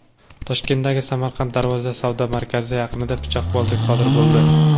Toshkentdagi Samarqand Darvoza savdo markazi yaqinida pichoqbozlik sodir bo‘ldi.